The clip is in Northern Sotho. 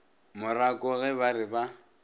morako ge ba re ba